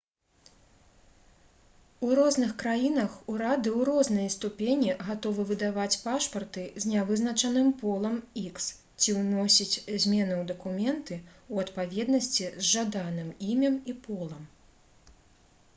у розных краінах урады ў рознай ступені гатовы выдаваць пашпарты з нявызначаным полам х ці ўносіць змены ў дакументы ў адпаведнасці з жаданым імем і полам